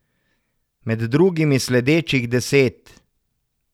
Med drugimi sledečih deset.